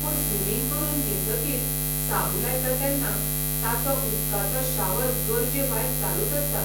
पूण स्विमिंग करून येतकीर साबू लायता तेन्ना ताचो उदकाचो शावर गरजे भायर चालूच आसता...